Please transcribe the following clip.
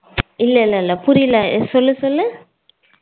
இல்ல இல்ல புரியல சொல்லு சொல்லு